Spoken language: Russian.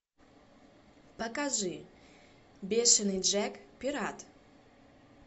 покажи бешенный джек пират